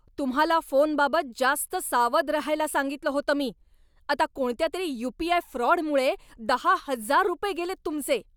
तुम्हाला फोनबाबत जास्त सावध रहायला सांगितलं होतं मी. आता कोणत्या तरी यू. पी. आय. फ्रॉडमुळे दहा हजार रुपये गेलेत तुमचे.